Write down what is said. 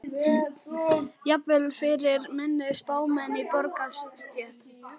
Jafnvel fyrir minni spámenn í borgarastétt.